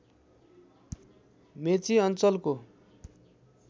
मेची अञ्चलको